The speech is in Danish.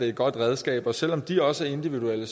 et godt redskab og selv om de også er individuelle